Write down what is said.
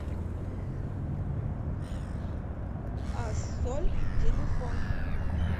ассоль телефон